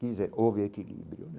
Quer dizer, houve equilíbrio.